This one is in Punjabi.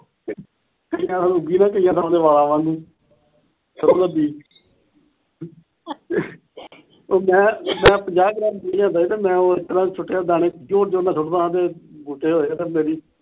ਵਾਲਾਂ ਵਾਂਗੂ ਸਰੋ ਦਾ ਬੀਜ ਉਹ ਮੈ, ਮੈਂ ਪੰਜਾਹ ਗ੍ਰਾਮ ਮੈਂ ਉਹ ਇਸ ਤਰਾਂ ਸੁਟੇ ਦਾਣੇ ਜ਼ੋਰ ਜ਼ੋਰ ਨਾਲ ਸੁੱਟਦਾ ਹੁੰਦਾ ਤੇ ਬੂਟੇ ਹੋਏ ਤੇ ਮੇਰੀ,